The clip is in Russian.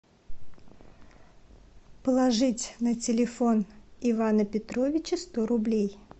положить на телефон ивана петровича сто рублей